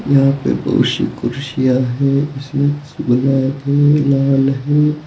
यहां पे बहुत सी कुर्सियां है इसमें कुछ ब्लैक है लाल है।